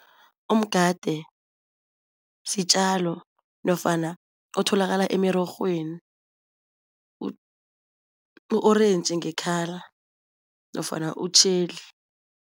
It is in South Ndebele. Umgade sitjalo nofana otholakala emirorhweni u-orentji nge-colour nofana utjheli.